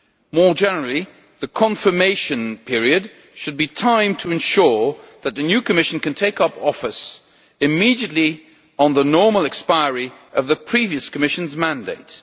More generally, the confirmation period should be enough time to ensure that the new Commission can take up office immediately on the normal expiry of the previous Commission's mandate.